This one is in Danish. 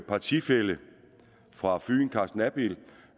partifælle fra fyn carsten abild